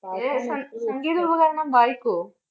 സം~സംഗീത ഉപകരണം വായിക്കുവോ?